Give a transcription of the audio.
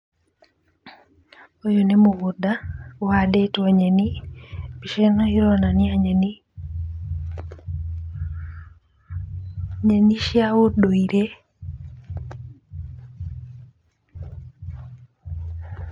Ũyũ nĩ mũgũnda ũhandĩtwo nyeni. Mbica ĩno ĩronania nyeni, nyeni cia ũndũire.